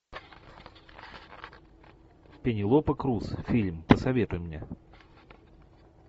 пенелопа крус фильм посоветуй мне